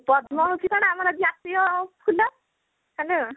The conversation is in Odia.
ପଦ୍ମ ହଉଚି କଣ ଆମର ଜାତୀୟ ଫୁଲ hello